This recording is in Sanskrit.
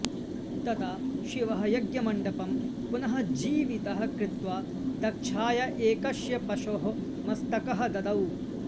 तदा शिवः यज्ञमण्डपं पुनः जीवितः कृत्वा दक्षाय एकस्य पशोः मस्तकः ददौ